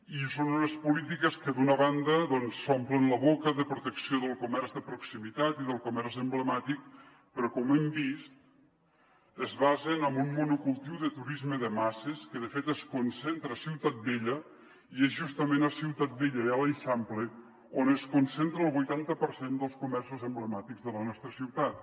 i són unes polítiques que d’una banda s’omplen la boca de protecció del comerç de proximitat i del comerç emblemàtic però com hem vist es basen en un monocultiu de turisme de masses que de fet es concentra a ciutat vella i és justament a ciutat vella i a l’eixample on es concentra el vuitanta per cent dels comerços emblemàtics de la nostra ciutat